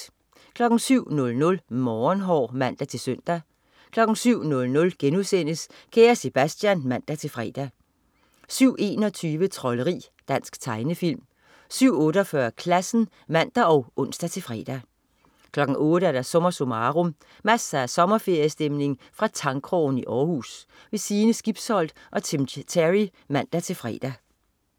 07.00 Morgenhår (man-søn) 07.00 Kære Sebastian*(man-fre) 07.21 Trolderi. Dansk tegnefilm 07.48 Klassen (man og ons-fre) 08.00 SommerSummarum. Masser af sommerferiestemning fra Tangkrogen i Århus. Sine Skibsholt og Tim Terry (man-fre)